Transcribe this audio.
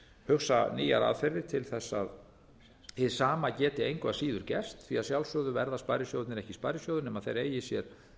hugsa nýjar aðferðir til þess að hið sama geti engu að síður gerst því að sjálfsögðu verða sparisjóðirnir ekki sparisjóðir nema þeir eigi sér